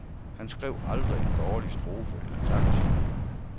Han skrev aldrig en dårlig strofe eller takt.